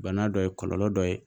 Bana dɔ ye kɔlɔlɔ dɔ ye